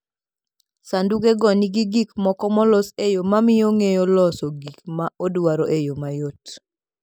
Sandugego nigi gik moko molos e yo mamiyo ong'eyo loso gik ma odwaro e yo mayot.